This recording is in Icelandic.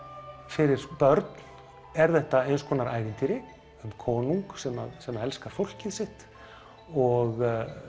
fyrir börn er þetta eins konar ævintýri um konung sem sem elskar fólkið sitt og